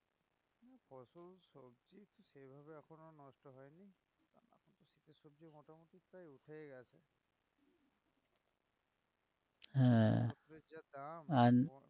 হ্যাঁ আর